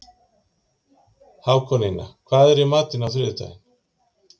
Hákonía, hvað er í matinn á þriðjudaginn?